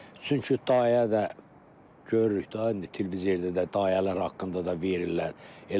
Çünki dayə də görürük də indi televizorda da dayələr haqqında da verirlər.